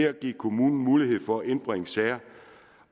at give kommunen mulighed for at indbringe sager